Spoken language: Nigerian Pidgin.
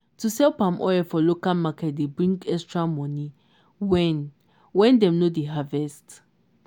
to sell palm oil for local market dey bring extra money when when dem no dey harvest.